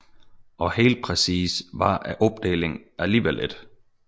Og helt præcis var opdelingen alligevel ikke